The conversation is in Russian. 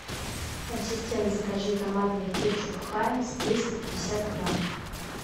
ассистент закажи томатный кетчуп хайнс триста грамм